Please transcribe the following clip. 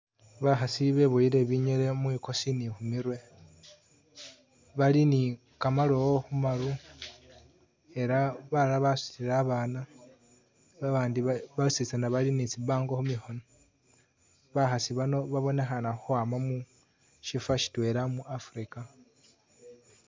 Bakhasi biboyele binyele mwigosi ni khumirwe bali ni gamalowo khumaru ela balala basudile abana babandi bwositsana bali ni tsi bango khumikhono, bakhasi bano babonekhana khukwama mushifo shidwela mu Africa